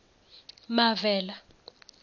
mavela